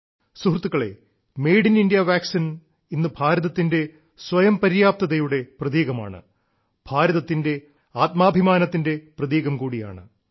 സുഹൃത്തുക്കളേ ങമറല ശി കിറശമ ഢമരരശില ഇന്ന് ഭാരതത്തിന്റെ സ്വയം പര്യാപ്തതയുടെ പ്രതീകമാണ് ഭാരതത്തിന്റെ ആത്മാഭിമാനത്തിന്റെ പ്രതീകം കൂടിയാണ്